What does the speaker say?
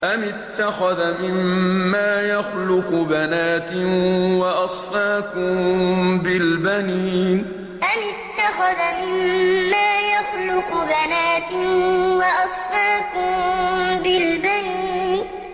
أَمِ اتَّخَذَ مِمَّا يَخْلُقُ بَنَاتٍ وَأَصْفَاكُم بِالْبَنِينَ أَمِ اتَّخَذَ مِمَّا يَخْلُقُ بَنَاتٍ وَأَصْفَاكُم بِالْبَنِينَ